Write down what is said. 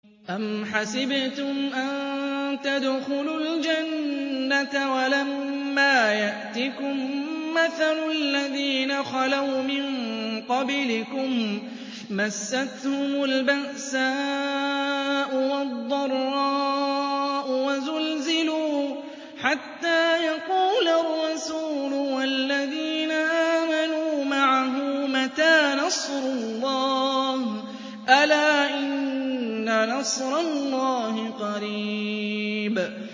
أَمْ حَسِبْتُمْ أَن تَدْخُلُوا الْجَنَّةَ وَلَمَّا يَأْتِكُم مَّثَلُ الَّذِينَ خَلَوْا مِن قَبْلِكُم ۖ مَّسَّتْهُمُ الْبَأْسَاءُ وَالضَّرَّاءُ وَزُلْزِلُوا حَتَّىٰ يَقُولَ الرَّسُولُ وَالَّذِينَ آمَنُوا مَعَهُ مَتَىٰ نَصْرُ اللَّهِ ۗ أَلَا إِنَّ نَصْرَ اللَّهِ قَرِيبٌ